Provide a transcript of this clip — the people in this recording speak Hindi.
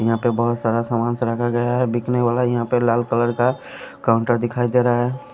यहां पे बहुत सारा सामानस रखा गया है बिकने वाला यहां पर लाल कलर का काउंटर दिखाई दे रहा है।